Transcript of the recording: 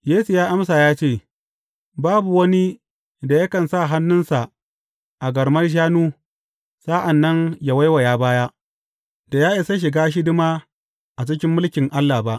Yesu ya amsa ya ce, Babu wani da yakan sa hannunsa a garman shanu, sa’an nan ya waiwaya baya, da ya isa ya shiga hidima a cikin mulkin Allah ba.